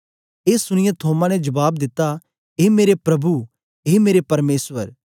ए सुनीयै थोमा ने जबाब दिता ए मेरे प्रभु ए मेरे परमेसर